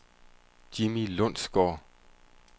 Jimmi Lundsgaard